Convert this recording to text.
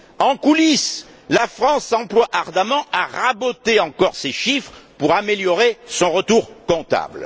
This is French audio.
en coulisses La France s'emploie ardemment à raboter encore ces chiffres pour améliorer son retour comptable.